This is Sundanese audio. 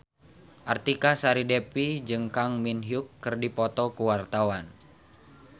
Artika Sari Devi jeung Kang Min Hyuk keur dipoto ku wartawan